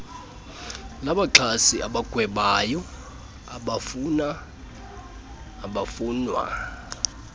labaxhasi abagwebayo abafunwa